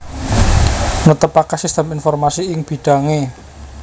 Netepaké sistem informasi ing bidhangé